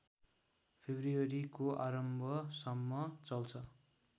फेब्रुअरीको आरम्भसम्म चल्छ